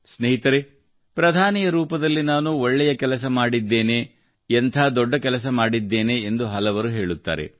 ಸ್ನೇಹಿತರೇ ಪ್ರಧಾನಿಯ ರೂಪದಲ್ಲಿ ನಾನು ಒಳ್ಳೆಯ ಕೆಲಸ ಮಾಡಿದ್ದೇನೆ ಎಂಥ ದೊಡ್ಡ ಕೆಲಸ ಮಾಡಿದ್ದೇನೆ ಎಂದು ಹಲವರು ಹೇಳುತ್ತಾರೆ